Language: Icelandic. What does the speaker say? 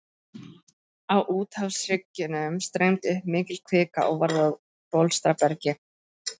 Á úthafshryggjunum streymdi upp mikil kvika og varð að bólstrabergi.